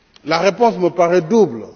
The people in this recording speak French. La réponse me paraît double.